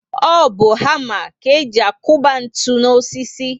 O bu hama ka e ji akuba ntụ n'osisi